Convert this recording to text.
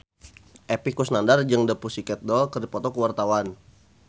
Epy Kusnandar jeung The Pussycat Dolls keur dipoto ku wartawan